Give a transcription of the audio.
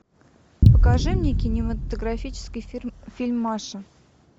покажи мне кинематографический фильм маша